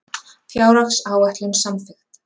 Fjárhagsáætlun samþykkt